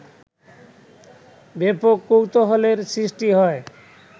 ব্যাপক কৌতূহলের সৃষ্টি হয়